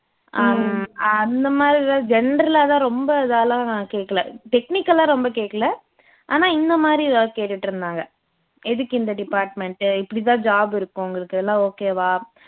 ஹம் அந்த மாதிரி தான் general ஆ தான் ரொம்ப இதால்லாம் கேக்கல technical ஆ ரொம்ப கேக்கல ஆனா இந்த மாதிரி எதாவது கேட்டுட்டு இருந்தாங்க எதுக்கு இந்த department இப்படிதான் job இருக்கும் உங்களுக்கு எல்லாம் okay வா